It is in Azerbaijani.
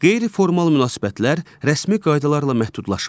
Qeyri-formal münasibətlər rəsmi qaydalarla məhdudlaşmır.